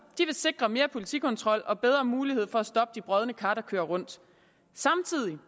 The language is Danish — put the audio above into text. sikre mere politikontrol og bedre mulighed for at stoppe de brodne kar der kører rundt samtidig